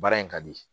Baara in ka di